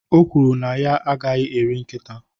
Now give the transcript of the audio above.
o kwuru na ya agaghị eri nkịta